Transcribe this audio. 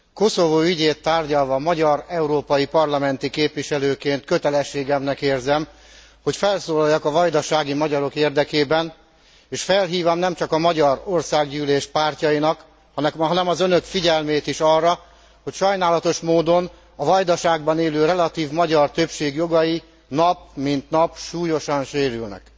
Koszovó ügyét tárgyalva magyar európai parlamenti képviselőként kötelességemnek érzem, hogy felszólaljak a vajdasági magyarok érdekében és felhívjam nemcsak a magyar országgyűlés pártjainak, hanem az Önök figyelmét is arra, hogy sajnálatos módon a Vajdaságban élő relatív magyar többség jogai nap mint nap súlyosan sérülnek.